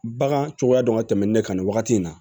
Bagan cogoya dɔn ka tɛmɛn nin ne kan nin wagati in na